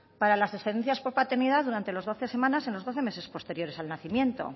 para las excedencias por paternidad durante las doce semanas en los doce meses posteriores al nacimiento